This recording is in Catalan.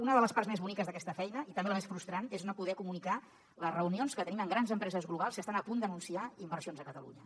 una de les parts més boniques d’aquesta feina i també la més frustrant és no poder comunicar les reunions que tenim amb grans empreses globals que estan a punt d’anunciar inversions a catalunya